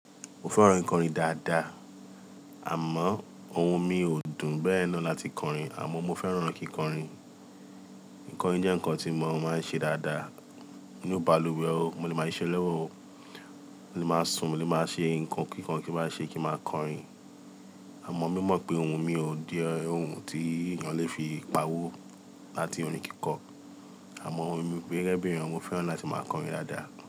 Mo fẹ́ran kì kọrin dáadáa, àmọ́ ohun mi ò dùn bẹ́ẹ̀ náà láti kọrin, àmọ́ mo fẹ́ran kí n kọrin. Kí n Kọrin jẹ́ ǹkan tí mo máa ń ṣe dáadáa, ni balùwẹ̀ o, mo lè máa ṣiṣẹ́ lọ́wọ́ o, mo lè máa sun, mo lè máa ṣe ǹkan kíkan kí n máa ṣe kí n máa kọrin. Àmọ́ mo mọ̀ pé ohun mi ò di ohun tí ènìyàn lè fi pawó láti orin kíkọ. Àmọ́ ohun mi pé rẹ́rẹ́ bí ènìyàn mo fẹ́ran láti máa kọrin dáadáa.